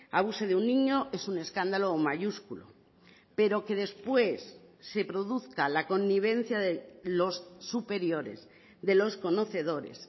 abuse de un niño es un escándalo mayúsculo pero que después se produzca la connivencia de los superiores de los conocedores